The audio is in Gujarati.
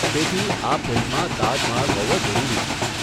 તેથી, આ ફિલ્મમાં તાજ મહાલ હોવો જરૂરી છે.